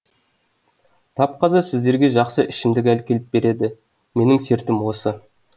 тап қазір сіздерге жақсы ішімдік әкеліп береді менің сертім осы